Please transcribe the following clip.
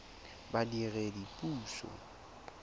badiredipuso